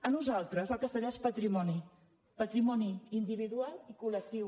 per nosaltres el castellà és patrimoni patrimoni individual i col·lectiu